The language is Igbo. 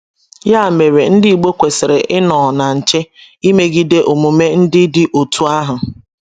Ya mere, Ndị igbo kwesiri ịnọọ na nche ịmegide omume ndị dị otú ahụ.